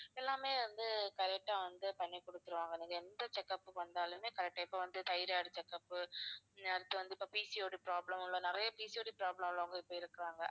எல்லாமே வந்து correct ஆ வந்து பண்ணி குடுத்துடுவாங்க நீங்க எந்த check up க்கு வந்தாலுமே correct ஆ இப்ப வந்து tyroid check up ஹம் அடுத்து வந்து இப்ப PCOD problem உள்ள நிறைய PCOD problem உள்ளவங்க இப்ப இருக்கறாங்க